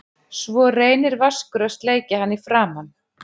Svo reynir Vaskur að sleikja hann í framan.